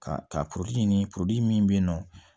Ka ka ɲini min bɛ yen nɔ